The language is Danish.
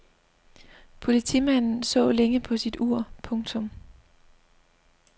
Politimanden så længe på sit ur. punktum